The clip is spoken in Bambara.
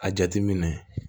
A jateminɛ